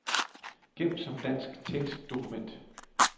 Gem som dansk tekstdokument.